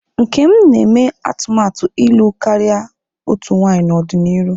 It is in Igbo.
Nkem na-eme atụmatụ ịlụ karịa otu nwanyị n'ọdịnihu.